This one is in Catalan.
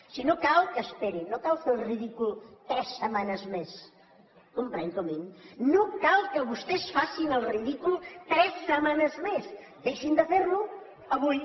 si no cal que esperin no cal fer el ridícul tres setmanes més comprèn comín no cal que vostès facin el ridícul tres setmanes més deixin de ferlo avui